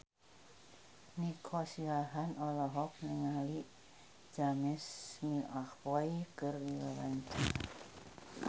Nico Siahaan olohok ningali James McAvoy keur diwawancara